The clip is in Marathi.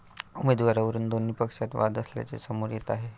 उमेदवारीवरून दोन्ही पक्षांत वाद असल्याचे समोर येत आहे.